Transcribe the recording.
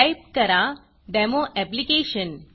type करा demo application